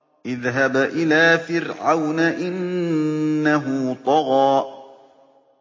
اذْهَبْ إِلَىٰ فِرْعَوْنَ إِنَّهُ طَغَىٰ